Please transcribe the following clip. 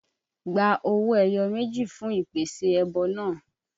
Gba owó ẹyọ méjì fún ìpèsè ẹbọ náà!